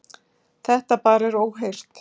Þetta bara er óheyrt.